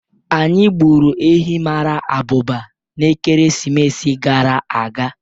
Anyị gburu ehi mara abụba n'ekeresimesi gara aga.